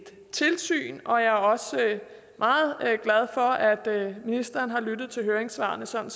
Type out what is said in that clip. tilsyn jeg er også meget glad for at ministeren har lyttet til høringssvarene sådan